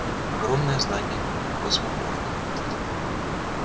огромное здание космопорта